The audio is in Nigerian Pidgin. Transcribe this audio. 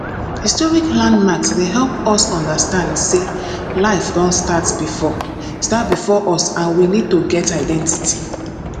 historic landmarks dey help us understand sey life don start before start before us and we need to get identity